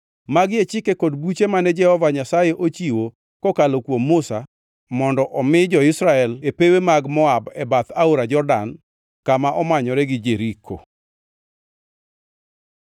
Magi e chike kod buche mane Jehova Nyasaye ochiwo kokalo kuom Musa mondo omi jo-Israel e pewe mag Moab e bath Aora Jordan kama omanyore gi Jeriko.